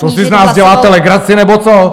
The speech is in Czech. To si z nás děláte legraci nebo co?